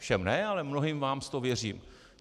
Všem ne, ale mnohým z vás to věřím.